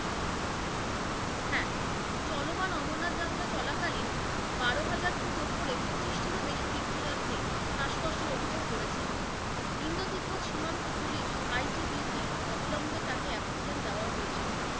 হ্যাঁ, চলমান অমরনাথ যাত্রা চলাকালীন বারোহাজার ফুট উপরে পঁচিশ টির ও বেশি তীর্থযাত্রী শ্বাসকষ্টের অভিযোগ করেছেন, ইন্দ্র তিব্বত সীমান্ত পুলিশ ITBP অবিল্মে তাকে অক্সিজেন দেওয়া হয়েছিল।